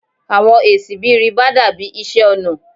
Awọn esi bi riba dabi iṣẹ ọna